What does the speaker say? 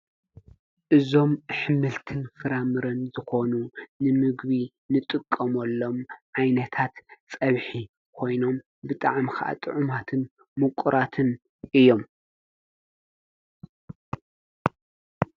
እዞም ኅምልትን ፍራምርን ዝኾኑ ንምግቢ ንጥቀምሎም ዓይነታት ጸብሒ ኾይኖም ብጥዓምኽዓጥ ዑማትን ምቁራትን እዮም።